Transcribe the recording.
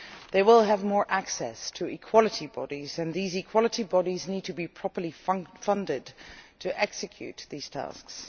They will have more access to equality bodies, and these equality bodies need to be properly funded to execute these tasks.